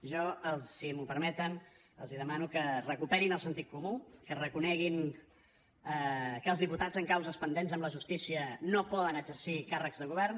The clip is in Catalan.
jo si m’ho permeten els demano que recuperin el sentit comú que reconeguin que els diputats amb causes pendents amb la justícia no poden exercir càrrecs de govern